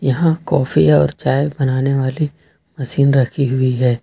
यहां काफी और चाय बनाने वाली मशीन रखी हुई है।